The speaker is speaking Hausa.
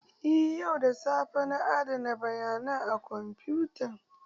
Eh yau da safe na adana bayanai a kwamfutan